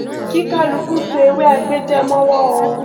kí kálukú so ewé agbéjẹ mọwọ o